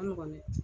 A nɔgɔn dɛ